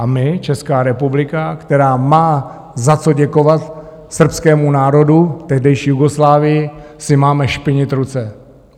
A my, Česká republika, která má za co děkovat srbskému národu, tehdejší Jugoslávii, si máme špinit ruce.